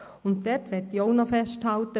Hier möchte ich auch festhalten: